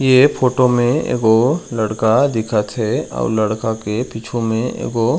ये फोटो में एगो लड़का दिखत हे अऊ लड़का के पीछू में एगो--